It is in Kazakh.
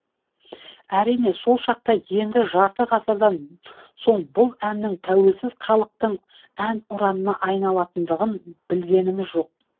әрине сол шақта енді жарты ғасырдан соң бұл әннің тәуелсіз халықтың әнұранына айналатындығын білгеніміз жоқ